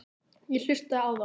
Ég hlustaði á þá.